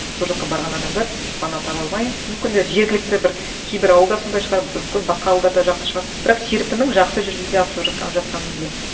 сол жаққа барған адамдар пана таба алмай мүмкін де жергілікті бір кейбір ауылда сондай шығар мүмкін басқа ауылдарда жақсы шығар бірақ серпіннің жақсы жүзеге асырып жатқанын білемін